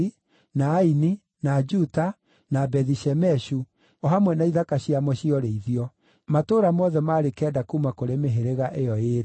na Aini, na Juta, na Bethi-Shemeshu, o hamwe na ithaka ciamo cia ũrĩithio; matũũra mothe maarĩ kenda kuuma kũrĩ mĩhĩrĩga ĩyo ĩĩrĩ.